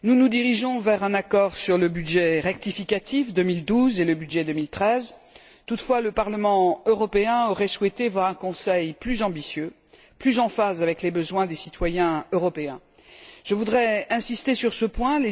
Monsieur le Président, chers collègues, nous nous dirigeons vers un accord sur le budget rectificatif 2012 et le budget 2013. Toutefois, le Parlement européen aurait souhaité voir un Conseil plus ambitieux, plus en phase avec les besoins des citoyens européens. Je voudrais insister sur ce point.